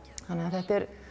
þetta er